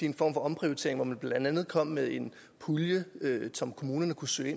en form for omprioritering hvor man blandt andet kom med en pulje som kommunerne kunne søge